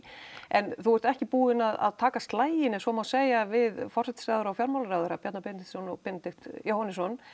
en þú ert ekki búinn að taka slaginn ef svo má segja við forsætisráðherra og fjármálaráðherra Bjarna Benediktsson og Benedikt Jóhannesson